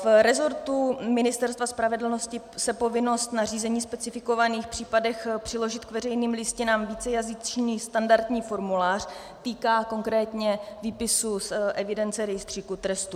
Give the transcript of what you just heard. V resortu Ministerstva spravedlnosti se povinnost nařízení v specifikovaných případech přiložit k veřejným listinám vícejazyčný standardní formulář týká konkrétně výpisu z evidence rejstříku trestů.